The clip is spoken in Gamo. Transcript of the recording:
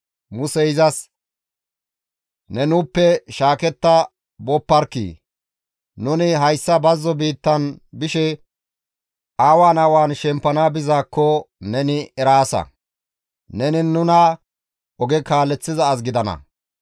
Musey izas, «Ne nuuppe shaaketta booparkkii! Nuni hayssa bazzo biittan bishe awan awan shempana bessizaakko neni eraasa; neni nuna oge kaaleththiza as gidana.